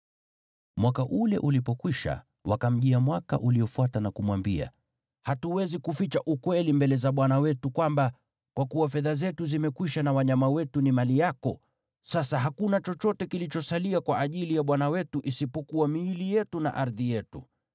Mwaka ule ulipokwisha, wakamjia mwaka uliofuata na kumwambia, “Hatuwezi kuficha ukweli mbele za bwana wetu kwamba, kwa kuwa fedha zetu zimekwisha na wanyama wetu ni mali yako, sasa hakuna chochote kilichosalia kwa ajili ya bwana wetu isipokuwa miili yetu na ardhi yetu.